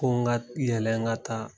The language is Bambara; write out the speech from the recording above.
Ko n ka yɛlɛ n ka taa